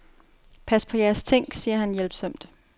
Pas på jeres ting, siger han hjælpsomt.